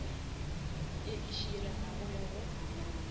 ye e šielanago ya go